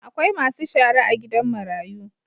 Akwai Masu shara a gidan marayu.